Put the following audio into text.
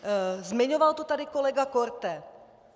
Zmiňoval to tady kolega Korte.